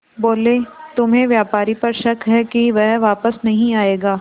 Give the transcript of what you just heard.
बोले तुम्हें व्यापारी पर शक है कि वह वापस नहीं आएगा